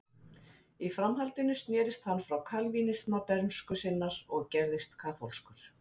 í framhaldinu snerist hann frá kalvínisma bernsku sinnar og gerðist kaþólskur